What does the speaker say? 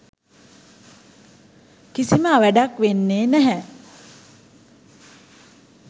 කිසිම අවැඩක් වෙන්නේ නැහැ.